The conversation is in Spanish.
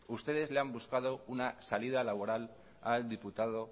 ustedes le han buscado una salida laboral al diputado